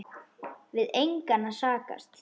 Við engan að sakast